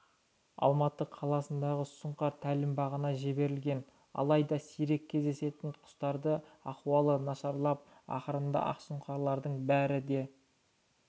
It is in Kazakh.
алматы қаласындағы сұңқар тәлімбағына жіберілген алайда сирек кездесетін құстардың ахуалы нашарлап ақырында ақсұңқарлардың бәрі де